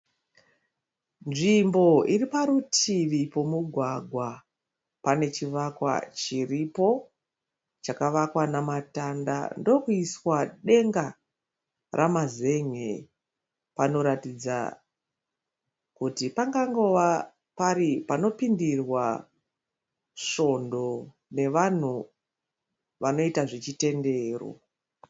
Nzvimbo iriparutivi pemugwagwa. Pane chivakwa chiripo chakavakwa nematanda ndokuiswa denga ramazen'e. Panoratidza kuti pangangova pari panopindirwa svondo nevanhu vanoita zvechitendero.